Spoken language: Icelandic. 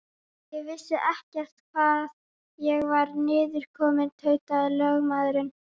Ég vissi ekkert hvar ég var niðurkominn, tautaði lögmaðurinn.